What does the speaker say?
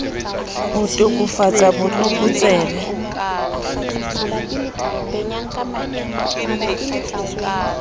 ho to kafatsa bot lokotsebe